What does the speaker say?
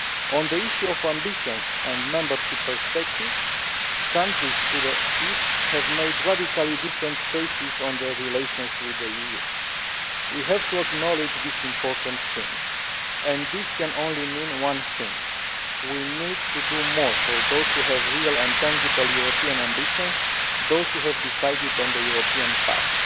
On the issue of ambitions and membership perspectives, countries to the east have made radically different choices on their relations with the EU. We have to acknowledge this important change, and this can only mean one thing we need to do more for those which have real and tangible European ambitions and have decided on the European path.